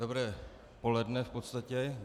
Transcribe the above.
Dobré poledne, v podstatě.